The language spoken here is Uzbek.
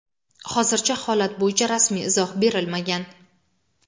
hozircha holat bo‘yicha rasmiy izoh berilmagan.